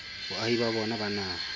boahi ba bona ba naha